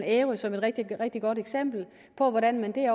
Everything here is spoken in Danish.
ærø som et rigtig rigtig godt eksempel hvordan man